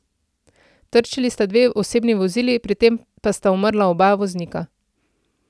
Trčili sta dve osebni vozili, pri tem pa sta umrla oba voznika.